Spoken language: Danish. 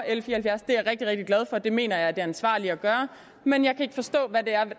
og det mener jeg er det ansvarlige at gøre men jeg kan ikke forstå hvad der